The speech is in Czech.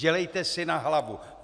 Dělejte si na hlavu.